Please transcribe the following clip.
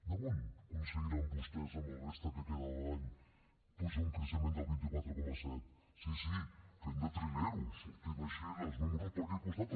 d’on aconseguiran vostès amb la resta que queda d’any pujar a un creixement del dos cents i quaranta set sí sí fent de trilers sortint així els números per aquí al costat